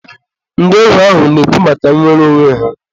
ndị ohu ahụ na-ekwu maka nwere onwe ha.